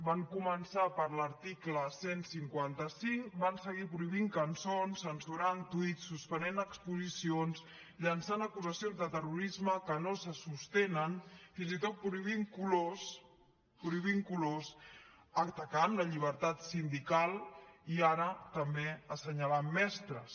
van començar per l’article cent i cinquanta cinc van seguir prohibint cançons censurant tuits suspenent exposicions llançant acusacions de terrorisme que no se sostenen fins i tot prohibint colors prohibint colors atacant la llibertat sindical i ara també assenyalant mestres